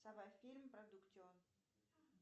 фильм продуктион